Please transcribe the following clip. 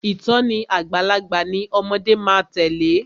Ìtòní àgbàlagbà ni ọmọde má a tèlé.